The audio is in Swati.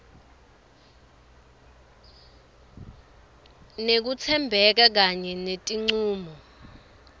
nekutsembeka kanye netincumo